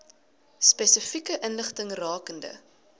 spesifieke inligting rakende